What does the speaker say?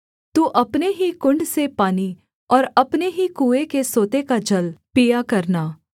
तू अपने ही कुण्ड से पानी और अपने ही कुएँ के सोते का जल पिया करना